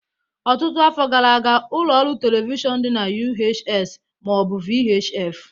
Ọtụtụ afọ gara aga, ụlọ ọrụ telivishọn dị na UHS ma ọ bụ VHF